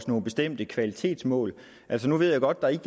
nogle bestemte kvalitetsmål altså nu ved jeg godt at der ikke